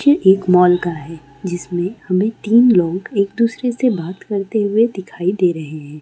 एक मॉल का है जिसमें हमें तीन लोग दूसरे से बात करते हुए दिखाई दे रहे हैं।